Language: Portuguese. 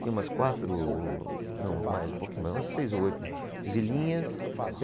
Tinha umas quatro o, não, mais, um pouquinho mais, umas seis ou oito vilinhas.